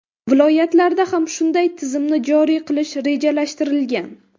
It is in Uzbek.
Viloyatlarda ham shunday tizimni joriy qilish rejalashtirilgan .